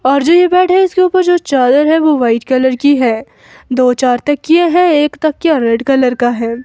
और जो ये बैड है इसके ऊपर जो चादर है वो वाइट कलर की है दो चार तकिये हैं एक तकिया रेड कलर का है।